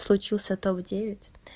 случился то в девять